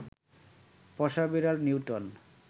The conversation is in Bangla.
পোষা বেড়াল নিউটন